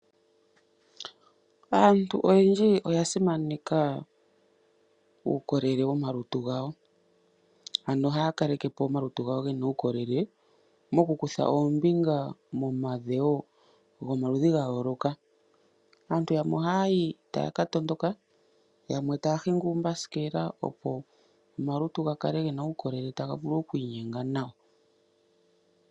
Aantu oyendji oya simaneka uukolele womalutu gawo. Ano ohaya kalekepo omalutu gawo gena uukolele mokukutha oombinga momadhewo gomaludhi gayooloka. Aantu yamwe oha yayi taya katondoka, yamwe taa hingi uumbasikela opo omalutu ga kale gena uukolele taga vule okwiinyenga nawa.